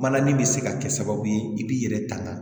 Mana nin bɛ se ka kɛ sababu ye i b'i yɛrɛ tanga